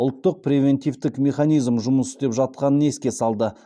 ұлттық превентивтік механизм жұмыс істеп жатқанын еске салды